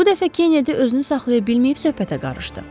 Bu dəfə Kennedi özünü saxlaya bilməyib söhbətə qarışdı.